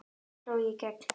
Þannig sló ég í gegn.